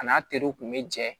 A n'a teriw kun bɛ jɛ